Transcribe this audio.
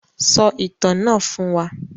Sọ ìtàn náà fún wa.